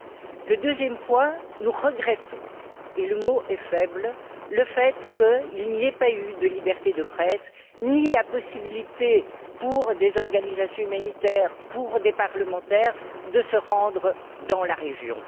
En ce qui concerne le deuxième point, nous regrettons et le mot est faible le fait qu'il n'y ait pas eu de liberté pour la presse ni la possibilité pour des organisations humanitaires ou pour des parlementaires de se rendre dans la région.